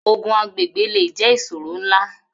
Ogun agbègbè le jẹ́ ìṣòro ńlá